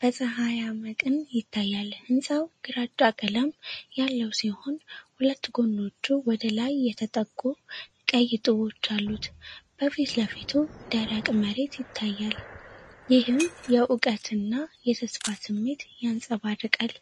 በፀሐያማ ቀን ይታያል። ህንጻው ግራጫ ቀለም ያለው ሲሆን፣ ሁለት ጎኖቹ ወደ ላይ የተጠቁ ቀይ ጡቦች አሉት። በፊት ለፊቱ ደረቅ መሬት ይታያል፤ ይህም የእውቀትና የተስፋ ስሜትን ያንጸባርቃል።